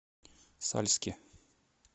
сальске